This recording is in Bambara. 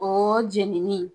Ooo jeninin.